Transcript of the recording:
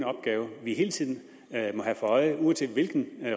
opgave vi hele tiden må have for øje uanset hvilken